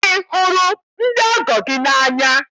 Ị hụrụ ndị ọgọ gị n'anya?